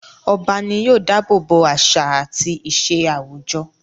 Ọba ní yóò dábòbò àṣà àti ìṣe àwùjọ.